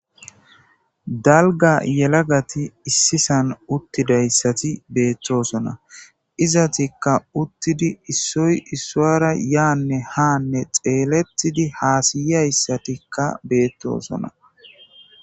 dalga yelagati issisan uttidayssati beettosona izatikka uttidi issoy issoara yaanne haanne xeelettidi haasiyyayssatikka beettoosona